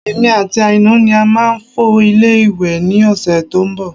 Èmi àti Aina ni a máa fọ ilé ìwẹ̀ ní ọ̀sẹ̀ tó ń bọ̀